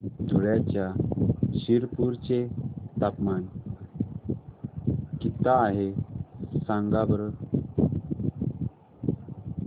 धुळ्याच्या शिरपूर चे तापमान किता आहे सांगा बरं